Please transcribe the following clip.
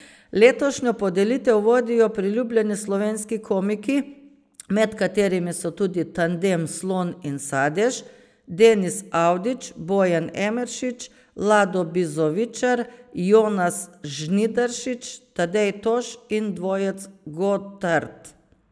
Letošnjo podelitev vodijo priljubljeni slovenski komiki, med katerimi so tudi tandem Slon in Sadež, Denis Avdić, Bojan Emeršič, Lado Bizovičar, Jonas Žnidaršič, Tadej Toš in dvojec Godart.